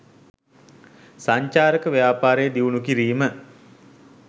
සංචාරක ව්‍යාපාරය දියුණු කිරීම